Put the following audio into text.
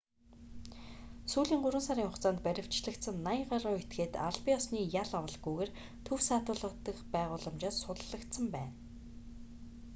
сүүлийн 3 сарын хугацаанд баривчлагдсан 80 гаруй этгээд албан ёсны ял авалгүйгээр төв саатуулах байгууламжаас суллагдсан байна